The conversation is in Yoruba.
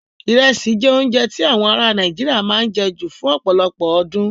Irẹsi jẹ́ oúnjẹ tí awọn aráa Nàìjíríà máa ń jẹ ju fún ọ̀pọ̀lọpọ̀ ọdún.